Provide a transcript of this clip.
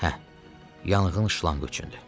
Hə, yanğın şlanqı üçündür.